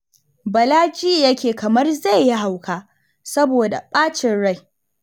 Bala ji yake kamar zai yi hauka saboda bacin rai